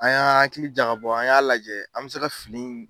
An y'an hakili jaga bɔ an y'a lajɛ an bɛ se ka finiw.